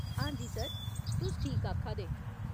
हां जी सर, तुस ठीक आखा दे।